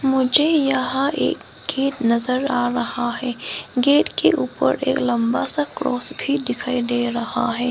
मुझे यहां एक गेट नजर आ रहा है गेट के ऊपर एक लंबा सा क्रॉस भी दिखाई दे रहा है।